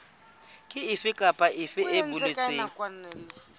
efe kapa efe e boletsweng